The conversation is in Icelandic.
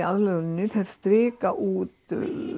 aðlöguninni þær strik út